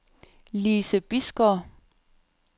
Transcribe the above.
Lise Bisgaard